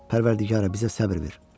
Pərvərdigara, bizə səbr ver.